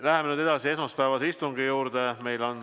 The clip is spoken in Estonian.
Läheme esmaspäevase istungi juurde.